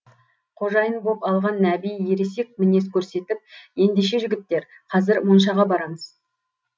қожайын боп алған нәби ересек мінез көрсетіп ендеше жігіттер қазір моншаға барамыз